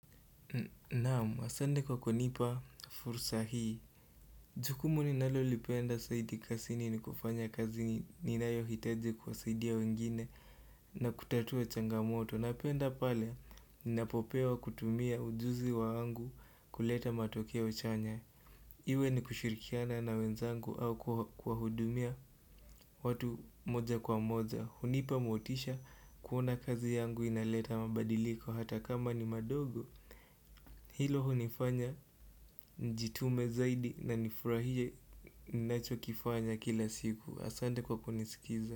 Na'am, asante kwa kunipa fursa hii Jukumu ninalolipenda zaidi kazini ni kufanya kazi ninayohitaji kuwasaidia wengine na kutatua changamoto. Napenda pale ninapopewa kutumia ujuzi wangu kuleta matokeo chanya Iwe ni kushirikiana na wenzangu au kuwahudumia watu moja kwa moja. Hunipa motisha kuona kazi yangu inaleta mabadiliko hata kama ni madogo Hilo hunifanya nijitume zaidi na nifurahie ninachokifanya kila siku. Asante kwa kunisikiza.